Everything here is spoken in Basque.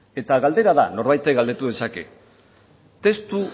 galdera da norbaitek galdetu dezake testu